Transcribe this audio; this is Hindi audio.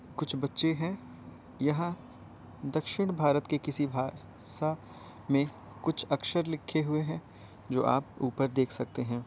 कुछ बच्चे हैं यहाँ दक्षिण भारत के किसी भा सा में कुछ अक्षर लिखे हुए हैं जो आप उपर देख सकते हैं।